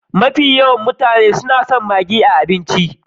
Mafi yawan mutane su na son maggi a abinci.